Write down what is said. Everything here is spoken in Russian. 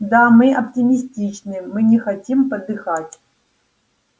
да мы оптимистичны мы не хотим подыхать